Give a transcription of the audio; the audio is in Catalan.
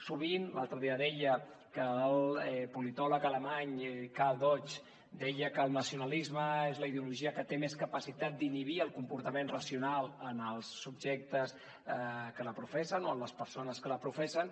l’altre dia deia que el politòleg alemany karl deutsch deia que el nacionalisme és la ideologia que té més capacitat d’inhibir el comportament racional en els subjectes que la professen o en les persones que la professen